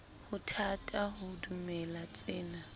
ho thata ho dumela tsena